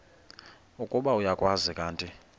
ukuba uyakwazi kanti